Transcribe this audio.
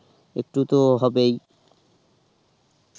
একটু তো হবেই